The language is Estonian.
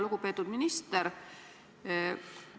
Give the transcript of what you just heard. Lugupeetud minister!